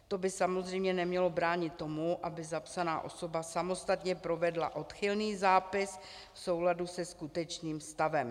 To by samozřejmě nemělo bránit tomu, aby zapsaná osoba samostatně provedla odchylný zápis v souladu se skutečným stavem.